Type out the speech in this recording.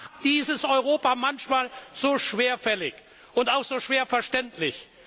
Das macht dieses Europa manchmal so schwerfällig und auch so schwer verständlich.